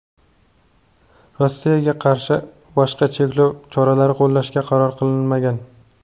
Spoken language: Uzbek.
Rossiyaga qarshi boshqa cheklov choralari qo‘llashga qaror qilinmagan.